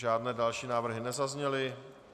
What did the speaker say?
Žádné další návrhy nezazněly.